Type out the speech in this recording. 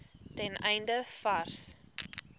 ten einde vars